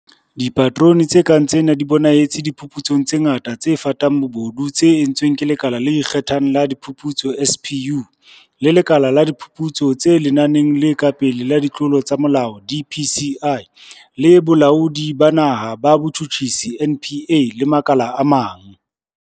Dipaterone tse kang tsena di bonahetse diphuputsong tse ngata tse fatang bobodu tse entsweng ke Lekala le Ikge thang la Diphuputso SPU, le Lekala la Diphuputso tse Lenaneng le Ka Pele la Ditlolo tsa Molao DPCI, le Bolaodi ba Naha ba Botjhutjhisi NPA le makala a mang.